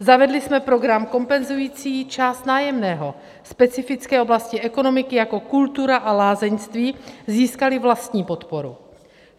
Zavedli jsme program kompenzující část nájemného, specifické oblasti ekonomiky jako kultura a lázeňství získaly vlastní podporu.